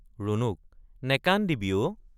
ৰুণুক—নেকান্দিবি অ।